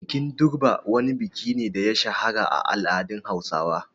Bikin Durbar wani biki ne da ya shahara a al’adun Hausawa.